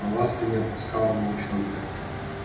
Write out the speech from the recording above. но ласка не отпускала волчонка